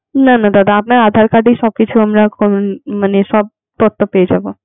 না না দাদা আপনার aadhar card এই সব কিছু আমরা কোন মানে সব তথ্য পেয়ে যাবো.